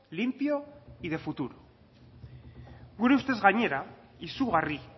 limpio y de futuro gure ustez gainera izugarri